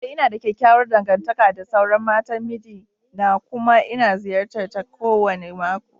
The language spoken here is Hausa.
Ee, ina da kyakkyawar dangantaka da sauran matan miji na kuma ina ziyartar ta kowane mako